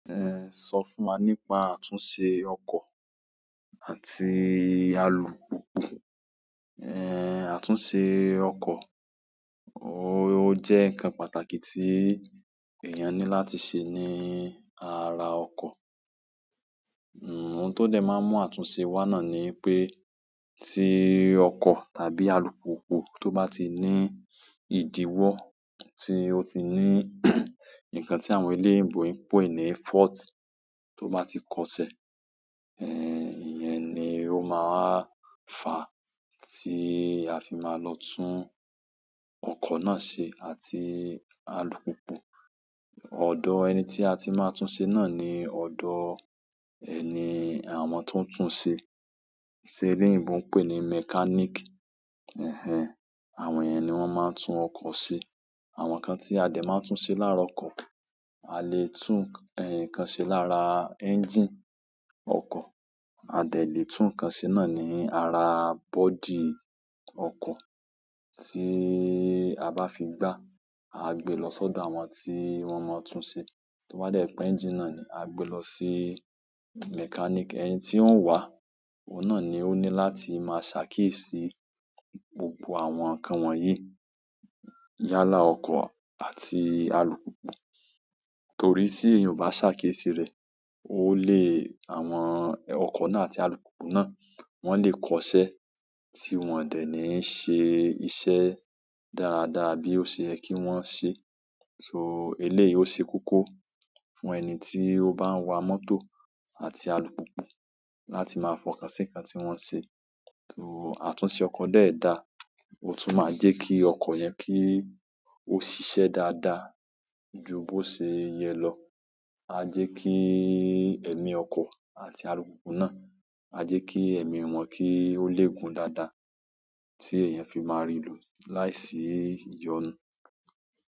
Eh, sọ fún wa nípa àtúnṣe ọkọ̀ àti alùpùpù. Eh, àtúnṣe ọkọ̀, ó jẹ́ ǹkan pàtàkì tí èèyàn ní láti ṣe ní ara ọkọ̀. Ohun tó dẹ̀ máa ń mú àtúnṣe wa náà ni pé tí ọkọ̀ tàbí alùpùpù tó bá ti ní ìdíwọ́, tí ó ti ní nǹkan tí àwọn eléèbò ń pè ní fault tó bá ti kọ ṣẹ, eh, ìyẹn ni ó máa fà tí a fi máa lọ tún ọkọ̀ náà ṣe àti alùpùpù. Ọdọ ẹni tí a ti máa tún ṣe náà ni ọdọ ẹ ni àwọn tó ń tún ṣe tí eléyinbò ń pè ní mechanic. Ẹhẹn, àwọn yẹn ní wọn máa ń tún ọkọ ṣe. Àwọn nǹkan tí a dẹ̀ máa ń tún ṣe lára ọkọ̀, a lè tún eh, nǹkan ṣe lára engine ọkọ̀, a dẹ̀ lè tún nǹkan ṣe náà ní ara body ọkọ̀ tí a bá fi gbá, a gbé lọ sọ́dọ̀ àwọn tí wọ́n mọ tún ṣe. Tó bá dẹ̀ pé engine náà ni, a gbé lọ sí mechanic. Ẹni tí o ń wa òun náà ló ní láti máa ṣakiyesi gbogbo àwọn nkán wọ̀nyí yálà ọkọ̀ àti alùpùpù, torí tí èèyàn kò bá ṣàkiyésí rẹ̀, ó lè-- àwọn ọkọ̀ náà àti alùpùpù náà, wọ́n lè kọ ṣẹ́ tí wọ́n ò dẹ̀ ní ṣe iṣẹ́ dáradára bí ó ṣe yẹ kí wọ́n ṣe. So eléyìí ó ṣe koko fún ẹni tí ó bá ń wa mọ́tò àti alùpùpù láti máa fọ̀kà sí nǹkan tí wọ́n ṣe. So àtúnṣe ọkọ̀ dẹ̀ da, ó tún máa jẹ́ kí ọkọ̀ yẹn kí ó ṣiṣẹ́ dáadáa ju bó ṣe yẹ lọ. A jẹ́ kí ẹ̀mí ọkọ̀ àti alùpùpù náà, a jẹ́ kí ẹ̀mí wọn kí ó le gun dáadáa tí èèyàn fi máa rì lo láìsí ìyọnu.